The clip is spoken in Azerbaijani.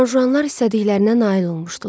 Juanjuanlar istədiklərinə nail olmuşdular.